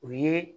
O ye